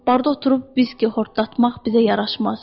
Barda oturub viski xortdatmaq bizə yaraşmaz.